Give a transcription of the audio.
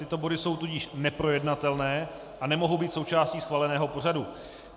Tyto body jsou tudíž neprojednatelné a nemohou být součástí schváleného pořadu.